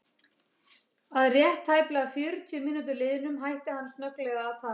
Að rétt tæplega fjörutíu mínútum liðnum hætti hann snögglega að tala.